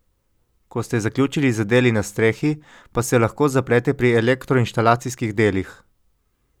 Ko ste zaključili z deli na strehi, pa se lahko zaplete pri elektroinštalacijskih delih.